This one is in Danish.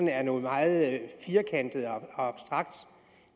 er noget meget firkantet og abstrakt